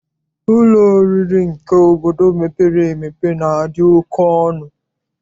Ụlọ oriri nke obodo mepere emepe na-adị oke ọnụ.